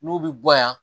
N'u bɛ bɔ yan